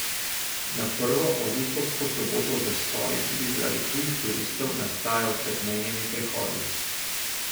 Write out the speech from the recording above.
Na prvo avgustovsko soboto zastoji tudi zaradi tujih turistov nastajajo pred mejnimi prehodi.